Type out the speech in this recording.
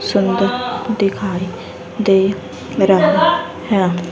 सुंदर दिखाई दे रहा है।